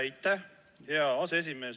Aitäh, hea aseesimees!